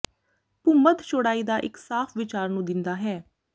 ਭੂਮੱਧ ਚੌੜਾਈ ਦਾ ਇੱਕ ਸਾਫ ਵਿਚਾਰ ਨੂੰ ਦਿੰਦਾ ਹੈ